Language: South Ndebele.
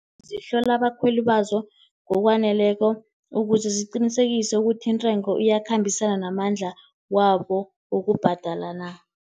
Zihlola abakhweli bazo ngokwaneleko, ukuze ziqinisekise ukuthi intengo iyakhambisana namandla wabo wokubhadala na.